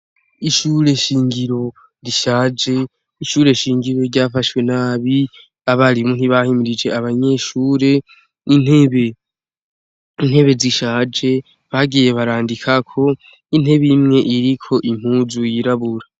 Ishure nshingiro rishaje, ishure nshingiro ryafashwe nabi, abarimu ntibahimirije abanyeshure. Intebe zishaje bagiye barandikako, intebe imwe iriko impuzu yirabura.